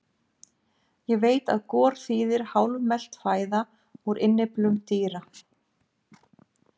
Ég veit að gor þýðir hálfmelt fæða úr innyflum dýra.